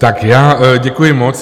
Tak já děkuji moc.